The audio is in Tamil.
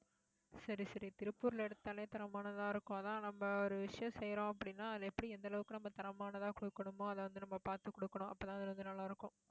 சரி, சரி திருப்பூர்ல எடுத்தாலே தரமானதா இருக்கும் அதான் நம்ம ஒரு விஷயம் செய்யறோம் அப்படின்னா அது எப்படி, எந்த அளவுக்கு நம்ம தரமானதா குடுக்கணுமோ அதை வந்து, நம்ம பாத்து குடுக்கணும். அப்பதான் அது நல்லா இருக்கும்